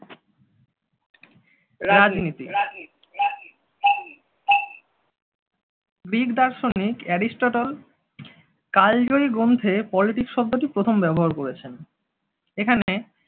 রাজনীতি গ্রিক দার্শনিক অ্যারিস্টটল কালজয়ী গ্রন্থে politics শব্দটি প্রথম ব্যবহার করেছেন। এখানে